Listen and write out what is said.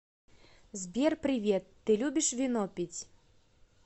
сбер привет ты любишь вино пить